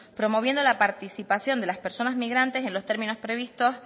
promoviendo la participación de las personas migrantes en los términos previstos